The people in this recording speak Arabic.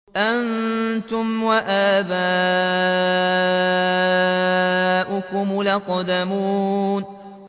أَنتُمْ وَآبَاؤُكُمُ الْأَقْدَمُونَ